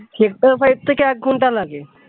থেকে এক ঘণ্টা লাগে